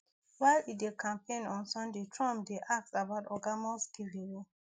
while e dey campaign on sunday trump dey asked about oga musk giveaway